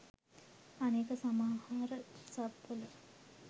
අනික සමහර සබ් වල